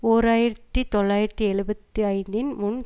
ஓர் ஆயிரத்தி தொள்ளாயிரத்தி எழுபத்தி ஐந்து இன் முன்